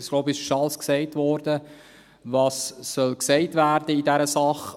Ich denke, es wurde schon alles gesagt, was in dieser Sache gesagt werden soll.